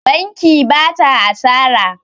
Banki ba ta asara.